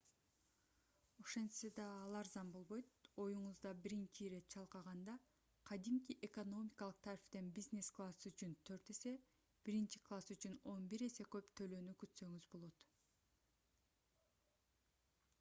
ошентсе да ал арзан болбойт оюңузда биринчи ирет чалкаганда кадимки экономикалык тарифтен бизнес класс үчүн төрт эсе биринчи класс үчүн он бир эсе көп төлөөнү күтсөңүз болот